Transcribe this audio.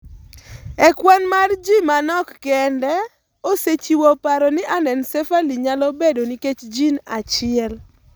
E kwan mar ji manok kende, osechiwo paro ni anencephaly nyalo bedo nikech gene achiel.